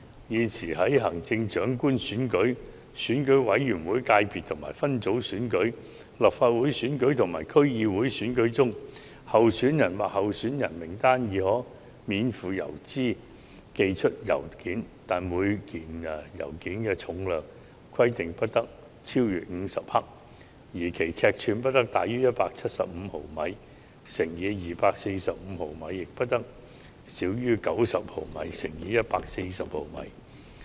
現時，在行政長官選舉、選舉委員會界別分組選舉、立法會選舉及區議會選舉中，候選人或候選人名單已可免付郵資寄出信件，但每封信件重量不得超逾50克，尺寸不得大於175毫米乘以245毫米，亦不得小於90毫米乘以140毫米。